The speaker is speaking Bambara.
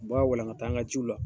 U ba walaganta an ka jiw la